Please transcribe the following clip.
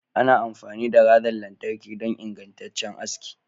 Ana amfani da razan lantarki don ingantaccen aski.